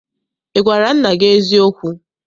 Ị gwara nna gị eziokwu?